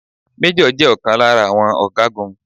Méjọ̀ jẹ ọ̀kan lára àwọn ọ̀gágun